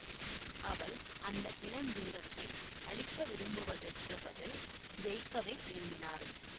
அவள் அந்த இளஞ்சிங்கத்தை அழிக்க விரும்புவதற்குப் பதில் ஜெயிக்கவே விரும்பினாள்